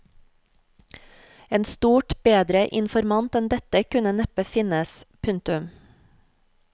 En stort bedre informant enn dette kunne neppe finnes. punktum